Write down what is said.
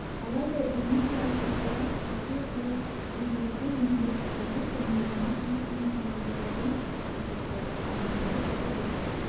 алайда биометриялық талдаулар құрғақшылық жылы үлгілердің өнімді түптері және өсімдік биіктігінің жоғарылығын көрсетті ал өнімді түптері